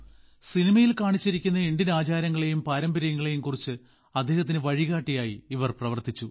സിനിമയിൽ കാണിച്ചിരിക്കുന്ന ഇന്ത്യൻ ആചാരങ്ങളെയും പാരമ്പര്യങ്ങളെയും കുറിച്ചും അദ്ദേഹത്തിനു വഴികാട്ടിയായി ഇവർ പ്രവർത്തിച്ചു